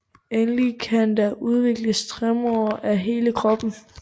Endelig kan der udvikles tremor af hele kroppen